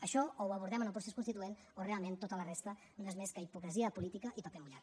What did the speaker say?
això o ho abordem en el procés constituent o realment tota la resta no és més que hipocresia política i paper mullat